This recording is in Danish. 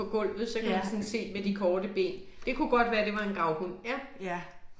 Ja. Ja